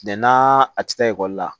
n'aa a tɛ taa ekɔli la